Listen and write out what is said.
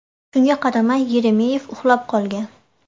Shunga qaramay, Yeremeyev uxlab qolgan.